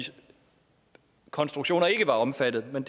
konstruktioner ikke var omfattet men